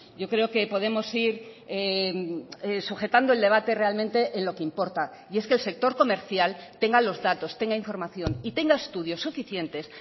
yo creo que podemos ir sujetando el debate realmente en lo que importa y es que el sector comercial tenga los datos tenga información y tenga estudios suficientes